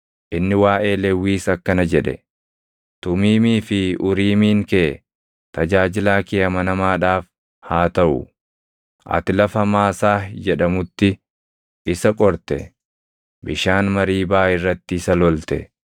Inni waaʼee Lewwiis akkana jedhe: “Tumiimii fi Uriimiin kee tajaajilaa kee amanamaadhaaf haa taʼu. Ati lafa Maasaah jedhamutti isa qorte; bishaan Mariibaa irratti isa lolte.